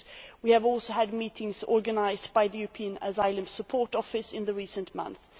We have also had meetings organised by the European Asylum Support Office in recent months.